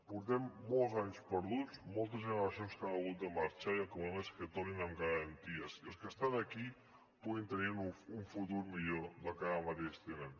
portem molts anys perduts moltes generacions que han hagut de marxar i el que volem és que tornin amb garanties i els que estan aquí puguin tenir un futur millor que el que ara mateix tenen